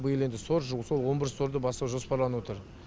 биыл енді сор же сол он бірінші сорды бастау жоспарланып отыр